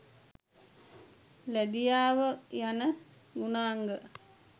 ලැදියාව යන ගුණාංග